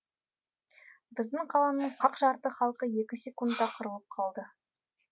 біздің қаланың қақ жарты халқы екі секундта қырылып қалды